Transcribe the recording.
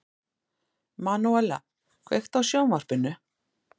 Manúella, kveiktu á sjónvarpinu.